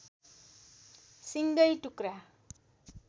सिङ्गै टुक्रा